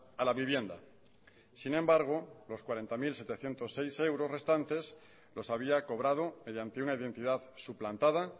a la vivienda sin embargo los cuarenta mil setecientos seis euros restantes los había cobrado mediante una identidad suplantada